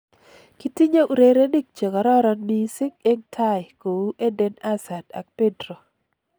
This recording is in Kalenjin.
Kitinye urerenik chekararan missing' eng tai kou Eden Hazard ak Pedro